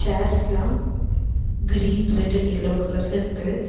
சேர்ஸ்லா green red and yellow கலர்ல இருக்கு.